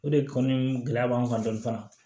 O de kɔni gɛlɛya b'an kan dɔni fana